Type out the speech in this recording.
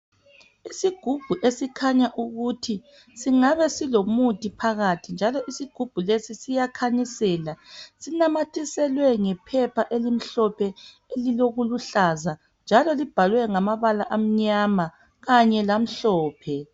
Isigubhu esikhanya ukuthi singabe silomuthi phakathi njalo isigubhu lesi siyakhanyisela sinamathiselwe ngephepha elimhlophe elilokubuhlaza njalo libhalwe ngamabala anyama kanye lamhlophe